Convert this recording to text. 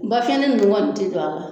Ba fiɲɛnene nunnu kɔni ti don a la